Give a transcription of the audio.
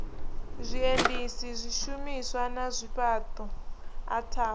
zwiendisi zwishumiswa na zwifhaṱo ataf